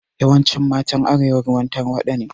Yawancin matan arewa ruwan tarwaɗa ne